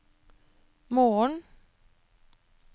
morgen